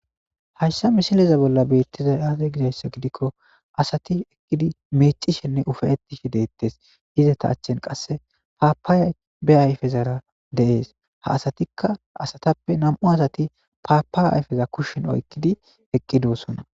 Hayssa misileza bolla beettizay aaze gizayssa gidikko asati eqqidi meecishenne ufe ettishe deettes iza ta achchen qasse paapay be ayfezara deees ha asatikka asatappe nam7u asati paapa ayfeza kushshin oykkidi eqqi doossona.